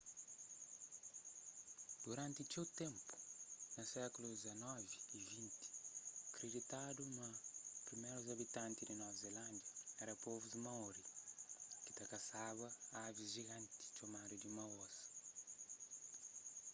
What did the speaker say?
duranti txeu ténpu na sékulus xix y xx kriditadu ma primérus abitanti di nova zilándia éra povu maori ki ta kasaba avis jiganti txomadu di moas